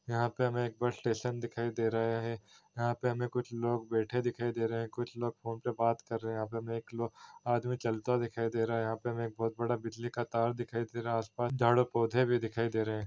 यहाँ पे हमें एक बस स्टेशन दिखाई दे रहा है यहाँ पे हमें कुछ लोग बैठे दिखाई दे रहे है कुछ लोग फ़ोन पे बात कर रहे है यहाँ पे हमें एक आदमी चलता दिखाई दे रहा है यहाँ पे हमें एक बहोत बड़ा बिजली का तार दिखाई दे रहा है आसपास झाड़ और पौधे भी दिखाई दे रहे है।